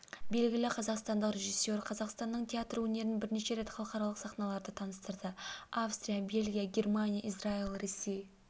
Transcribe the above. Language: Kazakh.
белгілі қазақстандық режиссер қазақстанның театр өнерін бірнеше рет халықаралық сахналарда таныстырды австрия бельгия германия израиль ресей